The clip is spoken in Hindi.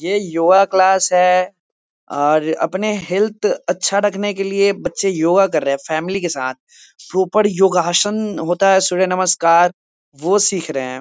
ये योगा क्लास है और अपने हेल्थ अच्छा रखने के लिए बच्चे योगा कर रहें हैं फैमिली के साथ प्रॉपर योगासन होता है सूर्य नमस्कार वो सिख रहे हैं ।